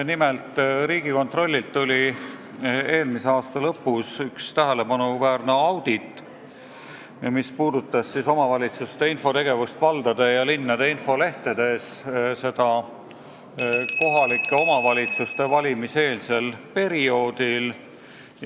Nimelt, Riigikontroll tegi eelmise aasta lõpus ühe tähelepanuväärse auditi, mis puudutas omavalitsuste infot valdade ja linnade infolehtedes, seda just kohalike omavalitsuste valimise eelsel perioodil.